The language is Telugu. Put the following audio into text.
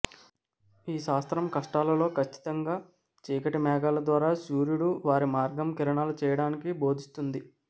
ఈ శాస్త్రం కష్టాలలో ఖచ్చితంగా చీకటి మేఘాలు ద్వారా సూర్యుడు వారి మార్గం కిరణాలు చేయడానికి బోధిస్తుంది